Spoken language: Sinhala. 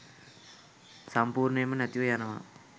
සම්පූර්ණයෙන්ම නැතිව යනවා.